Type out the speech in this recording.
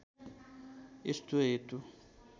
यस्तो हेतु